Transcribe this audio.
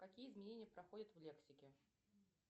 какие изменения проходят в лексике